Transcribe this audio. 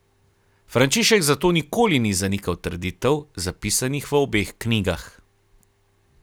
Frančišek zato nikoli ni zanikal trditev, zapisanih v obeh knjigah.